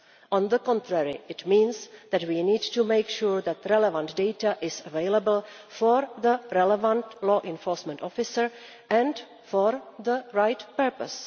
On the contrary, it means that we need to make sure that the relevant data is available for the relevant law enforcement officer and for the right purpose.